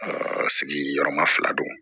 sigiyɔrɔma fila don